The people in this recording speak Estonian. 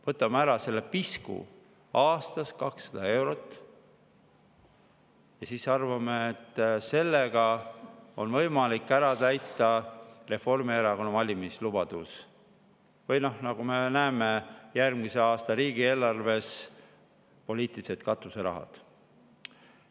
Võtame ära selle pisku – aastas 200 eurot – ja siis arvame, et sellega on võimalik täita Reformierakonna valimislubadus või, nagu me näeme järgmise aasta riigieelarves, poliitilisi katuserahasid.